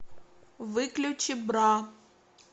выключи бра